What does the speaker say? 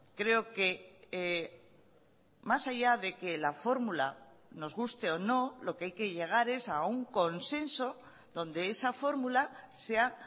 creo que más allá de que la fórmula nos guste o no lo que hay que llegar es a un consenso donde esa fórmula sea